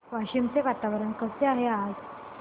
वाशिम चे वातावरण कसे आहे आज